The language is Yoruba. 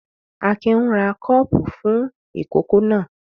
Akin ń ra kọ́ọ́pù fún ìkókó náà.